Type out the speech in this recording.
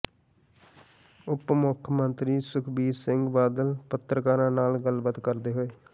ਉਪ ਮੁੱਖ ਮੰਤਰੀ ਸੁਖਬੀਰ ਸਿੰਘ ਬਾਦਲ ਪੱਤਰਕਾਰਾਂ ਨਾਲ ਗੱਲਬਾਤ ਕਰਦੇ ਹੋਏ